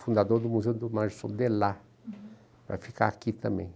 Fundador do Museu do Márcio Sondelar, para ficar aqui também.